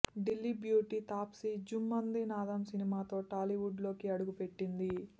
Delhi beauty Taapsee Jhummandi Naadam సినిమాతో Tollywood లోకి అడుగుపెట్టింది